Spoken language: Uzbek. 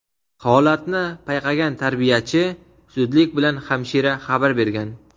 Holatni payqagan tarbiyachi zudlik bilan hamshira xabar bergan.